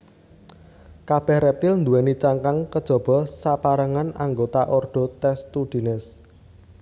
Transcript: Kabèh rèptil nduwèni cangkang kejaba sapérangan anggota ordo Testudines